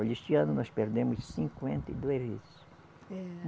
Olha, este ano nós perdemos cinquenta e duas vezes. É